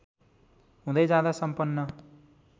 हुँदै जाँदा सम्पन्न